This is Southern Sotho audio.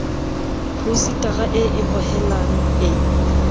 phousetara e e hohelang e